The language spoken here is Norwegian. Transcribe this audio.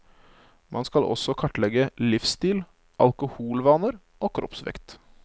Man skal også kartlegge livsstil, alkoholvaner og kroppsvekt.